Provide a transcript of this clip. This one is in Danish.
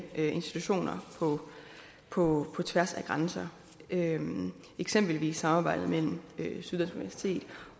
institutioner på tværs af grænser eksempelvis samarbejdet mellem syddansk universitet